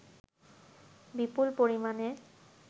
বিপুল পরিমাণে